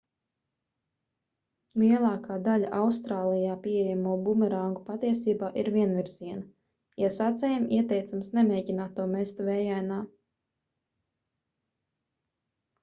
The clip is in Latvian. lielākā daļa austrālijā pieejamo bumerangu patiesībā ir vienvirziena iesācējiem ieteicams nemēģināt to mest vējainā